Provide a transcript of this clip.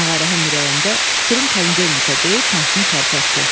Ağarəhim ürəyində: "Tüpürüm panedelenikə" deyib maşını tərpətdi.